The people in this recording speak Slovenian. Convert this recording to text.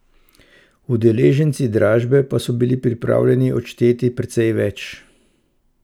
Udeleženci dražbe pa so bili pripravljeni odšteti precej več.